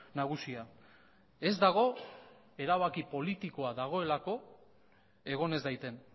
nagusia ez dago erabaki politikoa dagoelako egon ez daiten